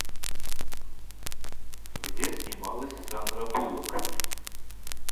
где снималась сандра буллок